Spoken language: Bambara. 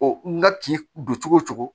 n ka kin don cogo o cogo